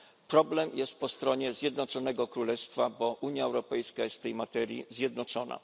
Problem jest po stronie Zjednoczonego Królestwa, bo Unia Europejska jest w tej materii zjednoczona.